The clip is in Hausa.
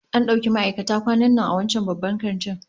An dauki ma'aikata kwanan nan a wancan babban kantin